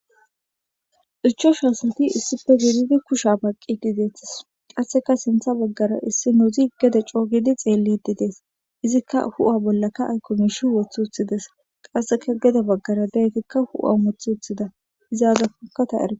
irchosha asati issife gedidi kusha baqedideethis qasseka sintha baggara issi nozi gede coogidi xeellididees izikka hu7a bollaka aykomishi woth uthides qasseka geda baggara daytikka hu7a moth uthida izaazafuka taera